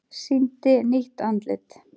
Sýndi nýtt andlit